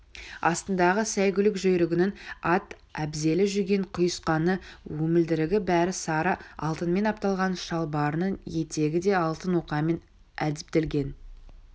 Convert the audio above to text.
астындағы сайгүлік жүйрігінің ат-әбзелі жүген-құйысқаны өмілдірігі бәрі сары алтынмен апталған шалбарының етегі де алтын оқамен әдіптелген